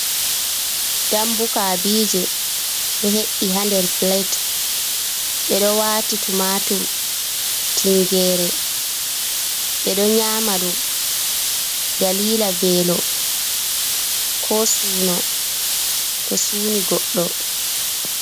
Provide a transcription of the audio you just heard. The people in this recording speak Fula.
Dambu kabije ɗo he’i ha nder pilet ɓedo wati tumatur, tingere ɓeɗo nyama ɗum dalila velo, ko suno to suni godɗo.